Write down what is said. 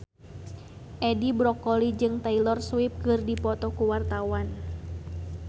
Edi Brokoli jeung Taylor Swift keur dipoto ku wartawan